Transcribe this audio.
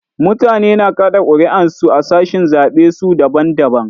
Mutane na kaɗa ƙuri'un su a sashin zaɓen su daban daban.